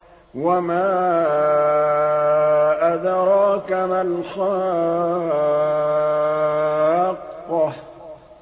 وَمَا أَدْرَاكَ مَا الْحَاقَّةُ